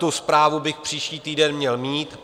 Tu zprávu bych příští týden měl mít.